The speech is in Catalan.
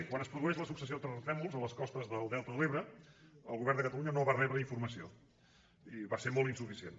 quan es produeix la successió de terratrèmols a les costes del delta de l’ebre el govern de catalunya no va rebre informació va ser molt insuficient